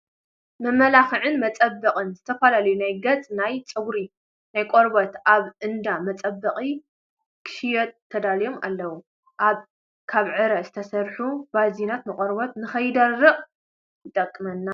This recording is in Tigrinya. መመላክዕን መፃበቅንት ዝተፈላለዩ ናይ ገፅ፣ ናይ ፀጉሪ ናይ ቆርበት፣ ኣብ እንዳ መፃባበቂ ክሽየጡ ተዳልዮም ኣለው። ካብ ዕረ ዝተሰርሑ ባዝሊናት ንቆርበት ከይደርቅ ይጠቅም።